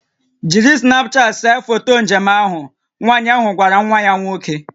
"Jiri Snapchat see foto njem njem ahụ" Nwanyị ahụ gwara nwa ya nwoke"